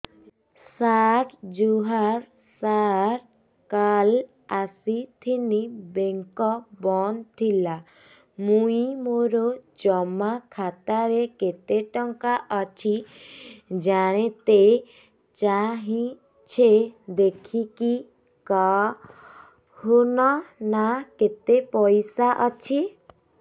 ସାର ଜୁହାର ସାର କାଲ ଆସିଥିନି ବେଙ୍କ ବନ୍ଦ ଥିଲା ମୁଇଁ ମୋର ଜମା ଖାତାରେ କେତେ ଟଙ୍କା ଅଛି ଜାଣତେ ଚାହୁଁଛେ ଦେଖିକି କହୁନ ନା କେତ ପଇସା ଅଛି